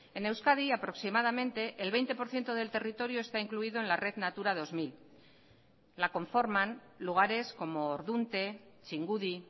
en euskadi aproximadamente el veinte por ciento del territorio está incluido en la red natura dos mil la conforman lugares como ordunte txingudi